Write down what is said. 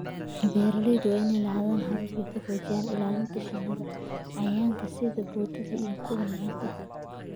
Beeralayda waa inay lahaadaan habab ay ku xoojiyaan ilaalinta shinnida cayayaanka sida boodada iyo kuwa lamid ah.